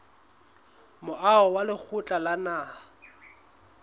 moaho wa lekgotla la naha